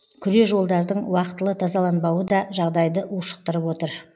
күре жолдардың уақытылы тазаланбауы да жағдайды ушықтырып отыр